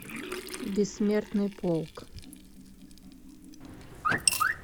бессмертный полк